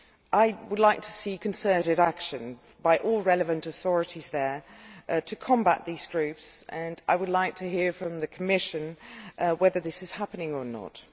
I would like to see concerted action by all relevant authorities there to combat these groups, and I would like to hear from the Commission whether this is happening or not.